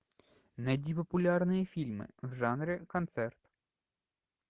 найди популярные фильмы в жанре концерт